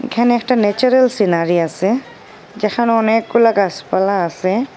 এখানে একটা natural scenery আসে যেখানে অনেকগুলা গাসপালা আসে।